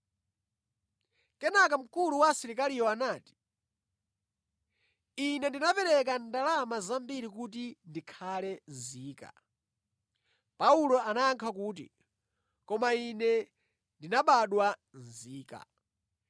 Kenaka mkulu wa asilikaliyo anati, “Ine ndinapereka ndalama zambiri kuti ndikhale nzika.” Paulo anayankha kuti, “Koma ine ndinabadwa nzika.”